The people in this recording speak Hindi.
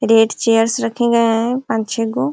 रेड चेयर्स रखे गए हैं पांच छे गो।